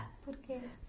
Por quê?